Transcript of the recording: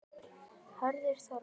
Hörður Þormar.